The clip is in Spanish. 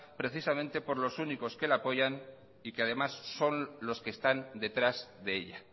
precisamente por los únicos que la apoyan y que además son los que están detrás de ella